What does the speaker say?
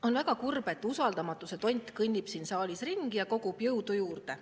On väga kurb, et usaldamatuse tont kõnnib siin saalis ringi ja kogub jõudu juurde.